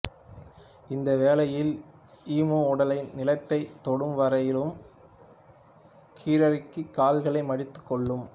இந்த வேளையில் ஈமு உடலை நிலத்தைத் தொடும்வரையிலும் கீழிறக்கி கால்களை மடித்துக்கொள்ளும்